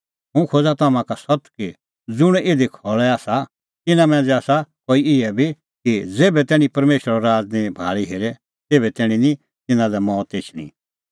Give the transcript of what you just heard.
हुंह खोज़ा तम्हां का सत्त कि ज़ुंण इधी खल़ै आसा तिन्नां मांझ़ै आसा कई इहै बी कि ज़ेभै तैणीं परमेशरो राज़ निं भाल़ी हेरे तेभै तैणीं निं तिन्नां लै मौत एछणी